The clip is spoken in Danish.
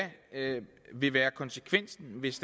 vil være konsekvensen hvis